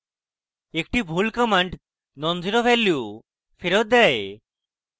একটি ভুল command non zero value ফেরৎ দেয়